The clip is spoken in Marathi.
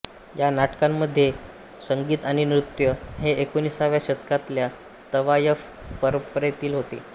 ह्या नाटकांमधले संगीत आणि नृत्य हे एकोणिसाव्या शतकातल्या तवायफ परंपरेतील होते